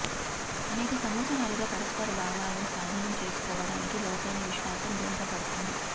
అనేక సంవత్సరాలుగా పరస్పర భావాలను స్వాధీనం చేసుకోవటానికి లోతైన విశ్వాసం దోహదపడుతుంది